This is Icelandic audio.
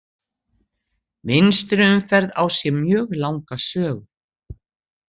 Vinstri umferð á sér mjög langa sögu.